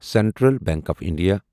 central bank of India